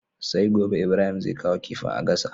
Sai gobe Ibrahim zai kawo kifin a gasa